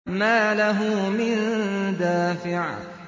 مَّا لَهُ مِن دَافِعٍ